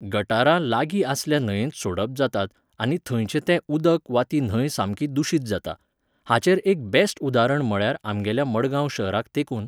गटारां लागी आसल्या न्हंयेत सोडप जातात आनी थंयचें ते उदक वा ती न्हंय सामकी दुशीत जाता. हाचेर एक बॅस्ट उदारण म्हळ्यार आमगेल्या मडगांव शहराक तेंकून